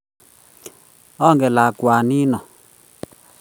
Angen lakwanin